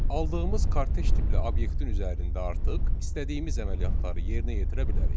Aldığımız kortej tipli obyektin üzərində artıq istədiyimiz əməliyyatları yerinə yetirə bilərik.